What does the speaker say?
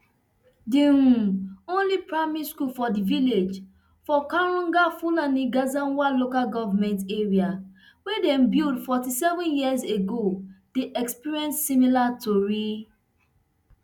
di um only primary school for di village of kwagar fulani gezawa local government area wey dem build forty-seven years ago dey experience similar tori